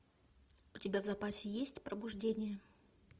у тебя в запасе есть пробуждение